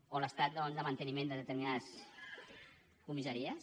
o l’estat de manteniment de determinades comissaries